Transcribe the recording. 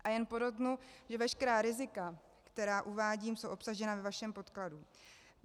A jen podotknu, že veškerá rizika, která uvádím, jsou obsažena ve vašem podkladu.